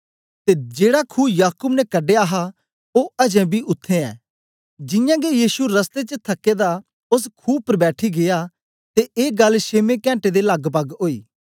ते जेड़ा खू याकूब ने कड़ेया हा ओ अज्जे बी उत्थें ए जियां गै यीशु रस्ते च थके दा ओस खू उपर बैठी गीया ते ए गल्ल छेमे घण्टे दे लगभग ओई